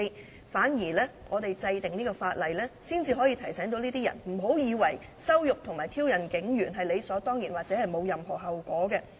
相反，立法才可以提醒這些人，不要以為羞辱和挑釁警務人員是理所當然或沒有後果的。